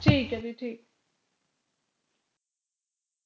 ਠੀਕ ਹੈ ਜੀ ਠੀਕ